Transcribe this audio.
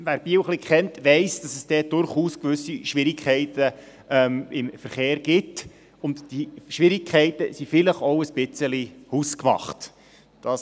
Wer Biel etwas kennt, weiss, dass es dort durchaus gewisse Schwierigkeiten beim Verkehr gibt und dass diese vielleicht auch etwas hausgemacht sind.